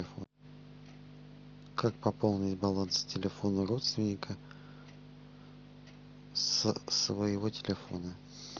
как пополнить баланс телефона родственника со своего телефона